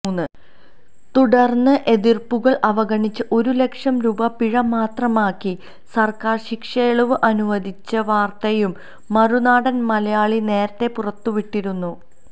തുടർന്ന് എതിർപ്പുകൾ അവഗണിച്ച് ഒരുലക്ഷം രൂപ പിഴമാത്രമാക്കി സർക്കാർ ശിക്ഷയിളവ് അനുവദിച്ച വാർത്തയും മറുനാടൻ മലയാളി നേരത്തെ പുറത്ത് വിട്ടിരുന്നു